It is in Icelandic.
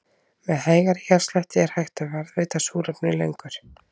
Með hægari hjartslætti er hægt að varðveita súrefni lengur.